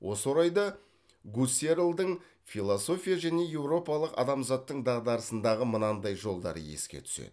осы орайда гуссерльдің философия және еуропалық адамзаттың дағдарысындағы мынандай жолдары еске түседі